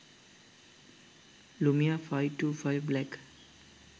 lumia 525 black